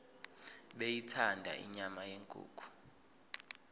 beyithanda inyama yenkukhu